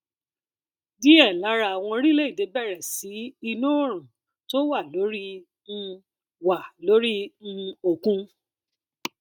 diẹ lára àwọn orílẹ èdè bẹrẹ sí iná oòrùn tó wà lórí um wà lórí um òkun